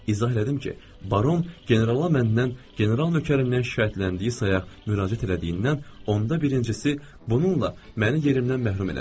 İzah elədim ki, baron generala məndən, general nəkərindən şikayətləndiyi sayaq müraciət elədiyindən, onda birincisi bununla məni yerimdən məhrum elədi.